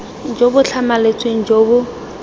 jo bo tlhamaletseng jo bo